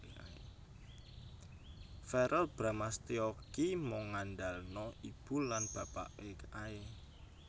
Verrel Bramastya ki mung ngandalno ibu lan bapake ae